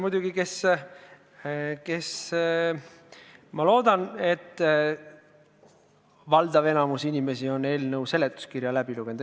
Muidugi ma loodan, et valdav enamik on seletuskirja läbi lugenud.